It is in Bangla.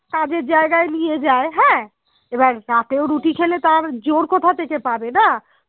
কাজের জায়গায় নিয়ে যায় হ্যাঁ এবার রাতেও রুটি খেলে তার জোর কথা থেকে পাবে না